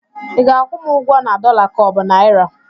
ị ga-akwụ m ụgwọ na dọla ka ọ bụ naịra?